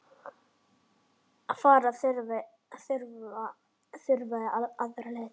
Fara þurfi aðra leið.